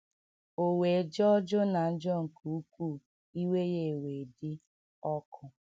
O wee jọọ Jona njọ nke ukwuu, iwe ya ewee dị ọkụ.